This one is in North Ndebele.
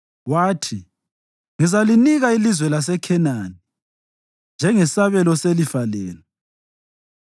wathi “Ngizalinika ilizwe laseKhenani njengesabelo selifa lenu.”